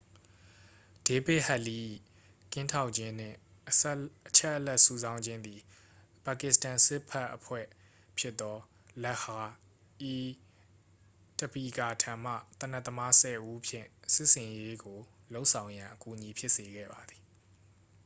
ဒေးဗစ်ဟက်လီး ၏ ကင်းထောက်ခြင်းနှင့် အချက်အလက်စုဆောင်းခြင်းသည် ပါကစ္စတန်စစ်ဘက်အဖွဲ့ဖြစ်သော လက်ခ်ဟာ-အီး-တဘီကာ ထံမှ သေနတ်သမားဆယ်ဦးဖြင့် စစ်ဆင်ရေးကိုလုပ်ဆောင်ရန် အကူအညီဖြစ်စေခဲ့ပါသည်